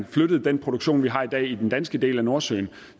flyttede den produktion vi har i dag i den danske del af nordsøen